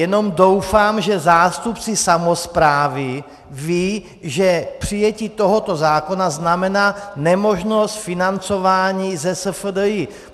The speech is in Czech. Jenom doufám, že zástupci samosprávy vědí, že přijetí tohoto zákona znamená nemožnost financování ze SFDI.